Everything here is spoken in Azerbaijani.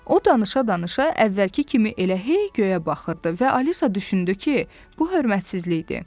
O danışa-danışa əvvəlki kimi elə hey göyə baxırdı və Alisa düşündü ki, bu hörmətsizlikdir.